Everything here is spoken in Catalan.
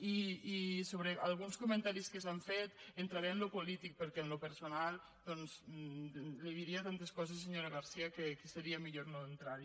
i sobre alguns comentaris que s’han fet entraré en allò polític perquè en allò personal doncs li diria tantes coses senyora garcía que seria millor no entrar hi